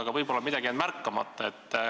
Võib-olla on mul midagi jäänud märkamata.